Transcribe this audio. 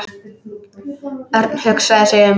Örn hugsaði sig um.